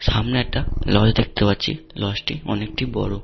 সামনে একটা লজ দেখতে পাচ্ছি। লজ -টি অনেকটি বড়।